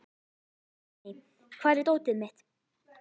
Hafný, hvar er dótið mitt?